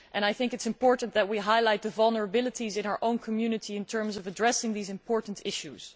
I think it is important that we highlight the vulnerabilities in our own community by addressing these important issues.